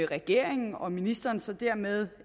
regeringen og ministeren så dermed